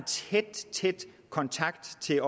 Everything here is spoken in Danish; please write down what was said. tæt tæt kontakt til